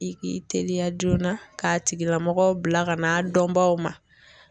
I k'i teliya joona k'a tigila mɔgɔ bila ka na a dɔnbaw ma.